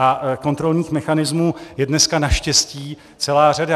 A kontrolních mechanismů je dneska naštěstí celá řada.